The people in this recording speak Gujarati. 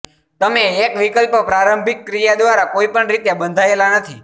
તમે એક વિકલ્પ પ્રારંભિક ક્રિયા દ્વારા કોઈપણ રીતે બંધાયેલા નથી